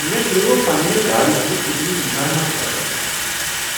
مےٚ ترٛوو پننہ گاڑ ہنٛدۍ انجنٕچ مرمت ٲخرس پیٹھ،